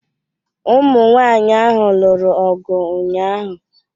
Ụmụ nwanyị ahụ lụrụ ọgụ ụnyaahụ.